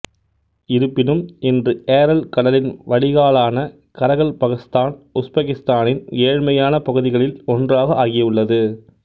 இருப்பினும் இன்று ஏரல் கடலின் வடிகாலான கரகல்பகஸ்தான் உஸ்பெகிஸ்தானின் ஏழ்மையான பகுதிகளில் ஒன்றாக ஆகியுள்ளது